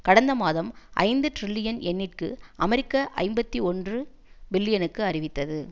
கடந்த மாதம் ஐந்து டிரில்லியன் யென்னிற்கு அமெரிக்க ஐம்பத்தி ஒன்று பில்லியனுக்கு அறிவித்தது